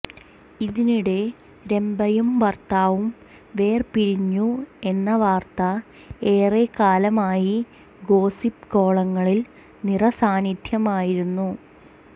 ഇതിനിടെ രംഭയും ഭർത്താവും വേർപിരിഞ്ഞു എന്ന വാർത്ത ഏറെ കാലമായി ഗോസിപ്പ് കോളങ്ങളിൽ നിറ സാന്നിധ്യമായിരുന്നു